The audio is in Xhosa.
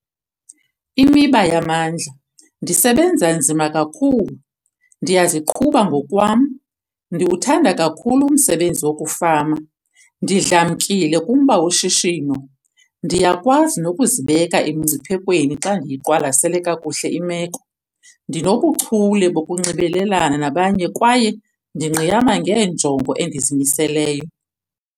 Imiba yamandla- Ndisebenza nzima kakhulu, ndiyaziqhuba ngokwam, ndiwuthanda kakhulu umsebenzi wokufama, ndidlamkile kumba woshishino, ndiyakwazi nokuzibeka emingciphekweni xa ndiyiqwalasele kakuhle imeko, ndinobuchule bokunxibelelana nabanye kwaye ndingqiyama ngeenjongo endizimiseleyo.